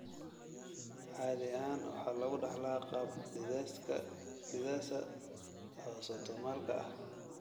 Caadi ahaan waxa lagu dhaxlaa qaab dithesa autosomalka ah.